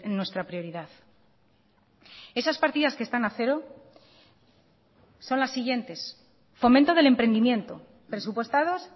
nuestra prioridad esas partidas que están a cero son las siguientes fomento del emprendimiento presupuestados